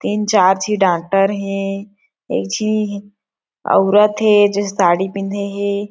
तीन चार झी डॉक्टर हे एक झी औरत हे जे साड़ी पिंधे हे।